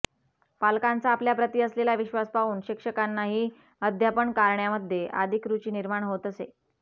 पालकांचा आपल्याप्रती असलेला विश्वास पाहून शिक्षकांनाही अध्यापन कारण्यामध्ये अधिक रुची निर्माण होत असे